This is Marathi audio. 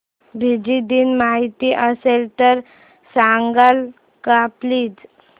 फिजी दिन माहीत असेल तर सांगाल का प्लीज